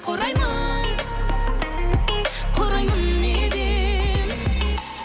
құраймын құраймын неден